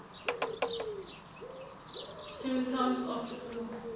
symptoms of flu